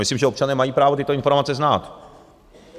Myslím, že občané mají právo tyto informace znát.